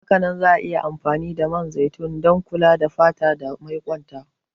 Hakanan za'a iya amfani da man zaitun don kula da fata dan maiƙwonta.